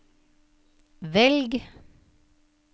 velg